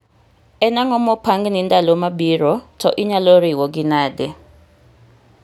en ang'o mopangni ndalo mabiro, to inyalo riwgi nade?